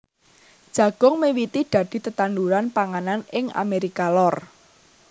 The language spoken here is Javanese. Jagung miwiti dadi tetanduran panganan ing Amérika Lor